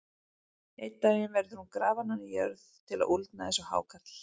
Einn daginn verður hún grafin ofan í jörð til að úldna eins og hákarl.